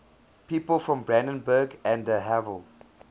people from brandenburg an der havel